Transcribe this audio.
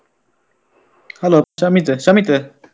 Hello Shamith Shamith.